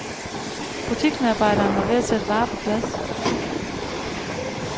Butiksmedarbejderen var ved at sætte varer på plads.